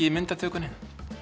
í myndatökunni